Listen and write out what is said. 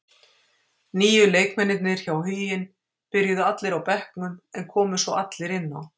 Nýju leikmennirnir hjá Huginn byrjuðu allir á bekknum, en komu svo allir inn á.